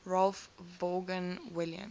ralph vaughan williams